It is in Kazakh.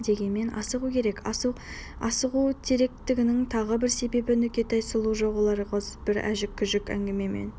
дегенмен асығу керек асығу керектігінің тағы бір себебі нүкетай сұлу жоқ олар өзге бір әжік-күжік әнгімемен